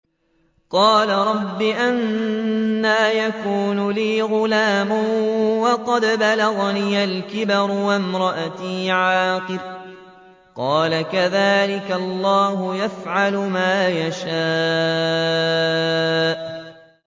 قَالَ رَبِّ أَنَّىٰ يَكُونُ لِي غُلَامٌ وَقَدْ بَلَغَنِيَ الْكِبَرُ وَامْرَأَتِي عَاقِرٌ ۖ قَالَ كَذَٰلِكَ اللَّهُ يَفْعَلُ مَا يَشَاءُ